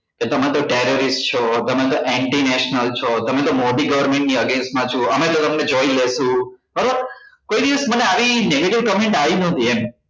કે તમે તો terrorist છો તમે તો anti national છો તમે તો મોદી government ની against માં છો અમે તો તમને જોઈ લેશું બરાબર કોઈ દિવસ મને આવી negative comment આવી નતી એમ